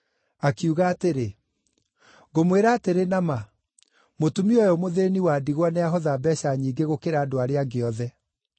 Akiuga atĩrĩ, “Ngũmwĩra atĩrĩ na ma, mũtumia ũyũ mũthĩĩni wa ndigwa nĩahotha mbeeca nyingĩ gũkĩra andũ arĩa angĩ othe.